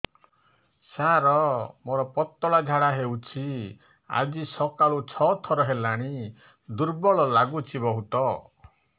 ସାର ମୋର ପତଳା ଝାଡା ହେଉଛି ଆଜି ସକାଳୁ ଛଅ ଥର ହେଲାଣି ଦୁର୍ବଳ ଲାଗୁଚି ବହୁତ